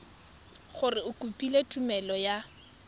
gore o kopile tumelelo ya